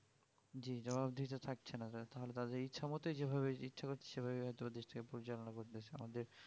জী জবাব দিহি তো থাকছে না তাহলে তাদের ইচ্ছা মতোই যেভাবে ইচ্ছা করছে সেভাবে হয়তো দেশটা পরিচালনা করতেছে আমাদের